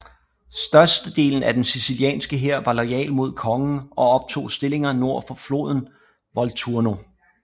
Størstedelen af den sicilianske hær var loyal mod kongen og optog stillinger nord for floden Volturno